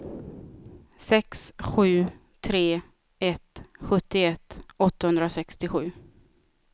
sex sju tre ett sjuttioett åttahundrasextiosju